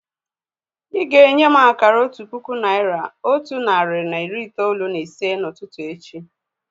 Ị́ ga-enye m akara otu puku naị́ra, otu narị na iri itoolu na ise n'ụtụtụ echi